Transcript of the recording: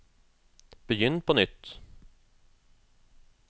begynn på nytt